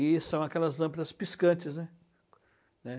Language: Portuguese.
E são aquelas lâmpadas piscantes, né, né.